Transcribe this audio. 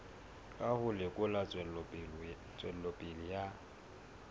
ka ho lekola tswelopele ya